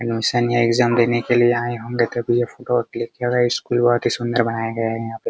Admission या exam देने के लिए आये होंगे तभी यह फोटो क्लिक किया गया है स्कूलवा बहुत ही सुन्दर बनाया गया है यहाँ पे।